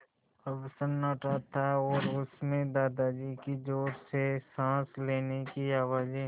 अब सन्नाटा था और उस में दादाजी की ज़ोर से साँस लेने की आवाज़ें